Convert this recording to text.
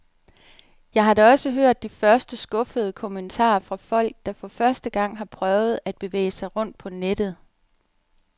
Jeg har da også hørt de første skuffede kommentarer fra folk, der for første gang har prøvet at bevæge sig rundt på nettet.